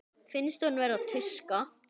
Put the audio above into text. Finnst hún vera tuska.